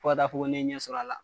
Fo ka taa fɔ ko ne ye ɲɛ sɔrɔ a la.